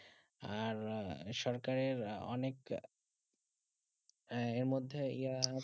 আর সরকারে অনেক এর মধ্যে আর